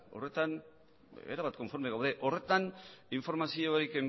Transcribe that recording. horretan erabat konforme gaude horretan informaziorik